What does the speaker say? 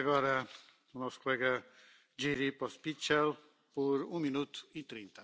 Pane předsedající, pane komisaři, já jsem se zájmem vyslechl Vaše úvodní slovo.